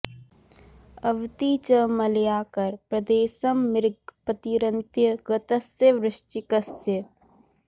अवति च मलयाकर प्रदेशं मृग पतिरन्त्य गतस्य वृश्चिकस्य